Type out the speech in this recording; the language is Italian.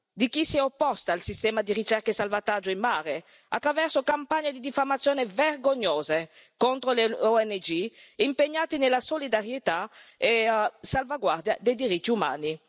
di chi si è opposto al sistema di ricerca e salvataggio in mare attraverso campagne di diffamazione vergognose contro le ONG impegnate nella solidarietà e salvaguardia dei diritti umani.